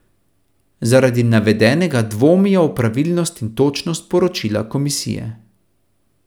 Zaradi navedenega dvomijo v pravilnost in točnost poročila komisije.